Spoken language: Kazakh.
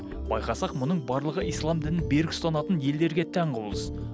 байқасақ мұның барлығы ислам дінін берік ұстанатын елдерге тән құбылыс